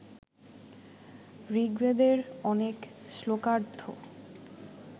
ঋগ্বেদের অনেক শ্লোকার্দ্ধ